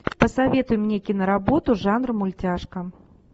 посоветуй мне киноработу жанр мультяшка